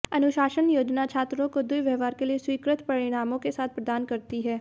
अनुशासन योजना छात्रों को दुर्व्यवहार के लिए स्वीकृत परिणामों के साथ प्रदान करती है